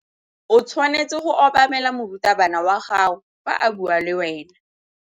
O tshwanetse go obamela morutabana wa gago fa a bua le wena.